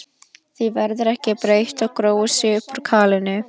Því verður ekki breytt þótt gróið sé upp úr kalinu.